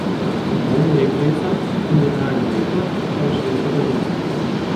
Strokovna direktorica in generalni direktor sta vršilca dolžnosti.